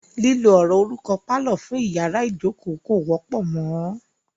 Lílo ọ̀rọ̀ orúkọ "pálọ̀" fún iyàrá ìjókó kò wọ́pọ̀ mọ.